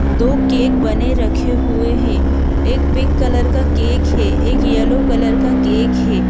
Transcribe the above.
दो केक बने रखे हुए हैं एक पिंक कलर का केक है एक येलो कलर का केक है।